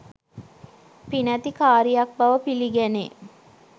පිනැති කාරියක් බව පිළිගැනේ.